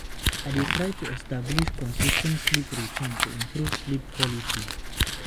I dey try to establish consis ten t sleep routine to improve sleep quality.